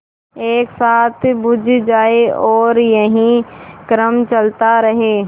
एक साथ बुझ जाएँ और यही क्रम चलता रहे